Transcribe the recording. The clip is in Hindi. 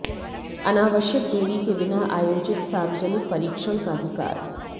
अनावश्यक देरी के बिना आयोजित सार्वजनिक परीक्षण का अधिकार